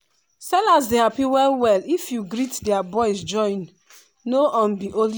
sellers dey happy well well if you greet their boys join no um be only